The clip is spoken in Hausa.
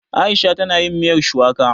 Aisha ta na yin miyar shuwaka